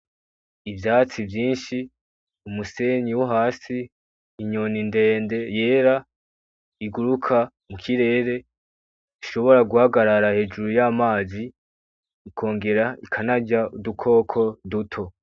Ivyatsi vyinshi umusenyi u hasi inyona indende yera iguruka mu kirere ishobora guhagarara hejuru y'amazi ikongera ikanarya udukoko duto.